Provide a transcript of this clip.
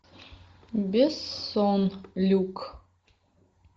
бессон люк